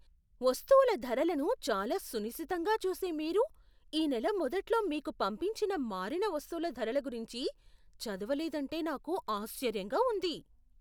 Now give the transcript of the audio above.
వస్తువుల ధరలను చాలా సునిశితంగా చూసే మీరు ఈ నెల మొదట్లో మీకు పంపించిన మారిన వస్తువుల ధరల గురించి చదవలేదంటే నాకు ఆశ్చర్యంగా ఉంది.